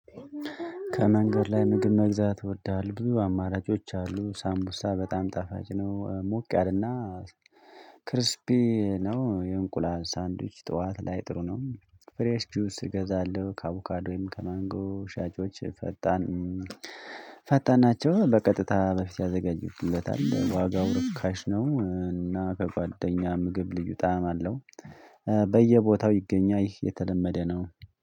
ከመንገድ ላይ ምግብ መግዛት ይወዳል ብዙ አማራጮች አሉ ሳምቡሳ በጣም ጣፋጭ ነው። ሞቅ ያለና ክርስፒ ነው የእንቁላል ሳንድዊች ጠዋት ላይ ጥሩ ነው። ፍሬሽ ጁስ እገዛለሁ ከአቡካዶም ከማንጎ ሻጮች ፈጣን። ፈጣን ናቸው በቀጥታ በፊት ያዘጋጅልለታል ዋጋው ርካሽ ነው። እና ከጓደኛ ምግብ ልዩ ጣዕም አለው። በየቦታው ይገኛል ይህ የተለመደ ነው